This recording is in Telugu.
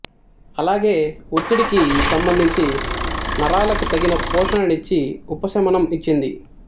అలాగే ఒత్తిడికి సంబంధించి నరాలకి తగిన పోషణనిచ్చి ఉపశమనం ఇచ్చింది